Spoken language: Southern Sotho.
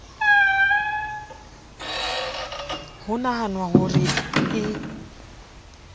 ho nahanwa ho re e